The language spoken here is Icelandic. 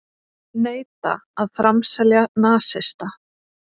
Neita að framselja nasista